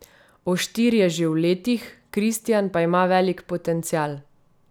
Oštir je že v letih, Kristijan pa ima velik potencial.